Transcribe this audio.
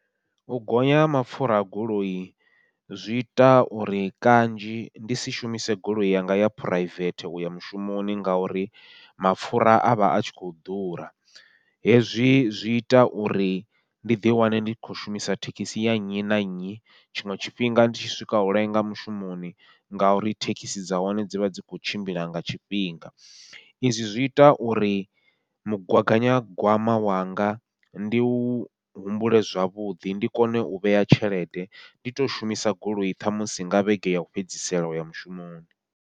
U gonya ha mapfhura a goloi zwi ita uri kanzhi ndi si shumise goloi yanga ya phuraivethe uya mushumoni, ngauri mapfhura avha atshi khou ḓura, hezwi zwi ita uri ndi ḓi wane ndi khou shumisa thekhisi ya nnyi na nnyi tshiṅwe tshifhinga ndi tshi swika u lenga mushumoni, ngauri thekhisi dza hone dzi vha dzi kho tshimbila nga tshifhinga. Izwi zwi ita uri mugaganyagwama wanga ndi u humbule zwavhuḓi, ndi kone u vhea tshelede ndi to shumisa goloi ṱhamusi nga vhege yau fhedzisela uya mushumoni.